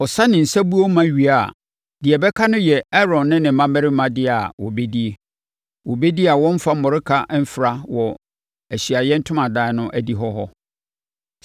Ɔsa ne nsabuo ma wie a, deɛ ɛbɛka no yɛ Aaron ne ne mmammarima dea a wɔbɛdie. Wɔbɛdi a wɔremfa mmɔreka mfra wɔ Ahyiaeɛ Ntomadan no adihɔ hɔ.